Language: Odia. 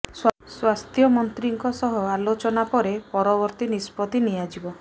ସ୍ୱାସ୍ଥ୍ୟ ମନ୍ତ୍ରୀଙ୍କ ସହ ଆଲୋଚନା ପରେ ପରବର୍ତ୍ତୀ ନିଷ୍ପତ୍ତି ନିଆଯିବ